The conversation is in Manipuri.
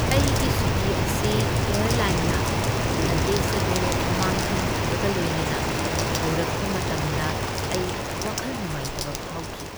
ꯑꯩꯒꯤ ꯁꯨꯇꯤ ꯑꯁꯤ ꯑꯦꯌꯔꯂꯥꯏꯟꯅ ꯂꯒꯦꯖ ꯑꯗꯨ ꯃꯥꯡꯍꯟꯈꯤꯕꯒ ꯂꯣꯏꯅꯅ ꯍꯧꯔꯛꯄ ꯃꯇꯝꯗ ꯑꯩ ꯋꯥꯈꯜ ꯅꯨꯡꯉꯥꯏꯇꯕ ꯐꯥꯎꯈꯤ꯫